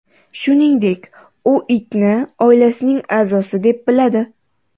Shuningdek, u itni oilasining a’zosi deb biladi.